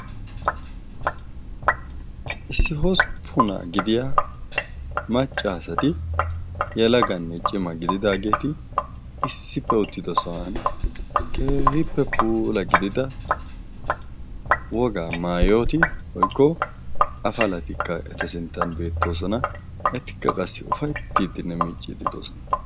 Issi hosppunaa gidiya macca asati yelaganne cima gididaageeti issippe uttido sohuwan keehipoe puula gidida wogaa maayoti woykko afalatikka eta sinttan beettoosona. Etikka qassi ufayttiiddinne muucciiddi de"oosona.